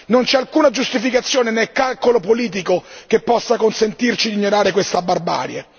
Non c'è alcuna giustificazione né calcolo politico che possa consentirci di ignorare questa barbarie.